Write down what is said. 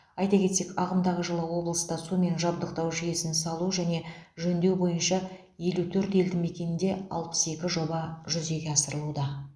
айта кетсек ағымдағы жылы облыста сумен жабдықтау жүйесін салу және жөндеу бойынша елу төрт елдімекенде алпыс екі жоба жүзеге асырылуда